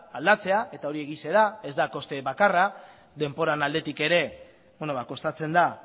aldatzea eta hori egia da ez da koste bakarra denboraren aldetik ere kostatzen da